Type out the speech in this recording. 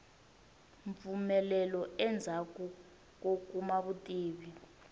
mpfumelo endzhaku ko kuma vutivi